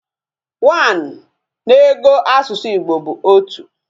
One na ego asusu Igbo bu otu